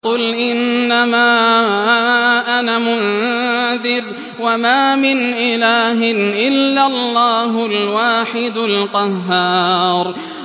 قُلْ إِنَّمَا أَنَا مُنذِرٌ ۖ وَمَا مِنْ إِلَٰهٍ إِلَّا اللَّهُ الْوَاحِدُ الْقَهَّارُ